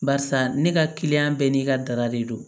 Barisa ne ka kiliyan bɛɛ n'i ka dara de don